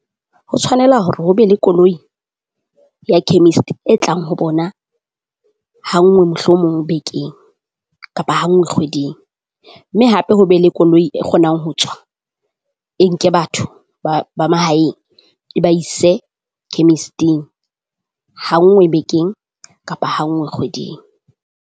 Ho tshwanela hore ho be le koloi ya chemist e tlang ho bona ha ngwe mohlomong bekeng, kapa hanngwe kgweding. Mme hape ho be le koloi e kgonang ho tswa e nke batho ba ba mahaeng, e ba ise chemist-ing hanngwe bekeng kapa hanngwe kgweding.